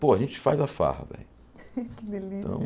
Pô, a gente faz a farra, velho. Que delícia